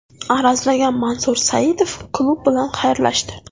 Arazlagan Mansur Saidov klub bilan xayrlashdi.